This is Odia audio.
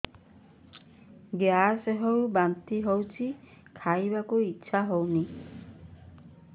ଗ୍ୟାସ ହୋଇ ବାନ୍ତି ହଉଛି ଖାଇବାକୁ ଇଚ୍ଛା ହଉନି